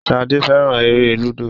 Shade féràn èrè ludo.